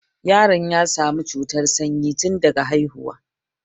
Yaron ya sami cutar sanyi tunda haihuwa